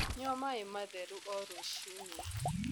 Nyua maĩ matherũ oh rũcĩĩnĩ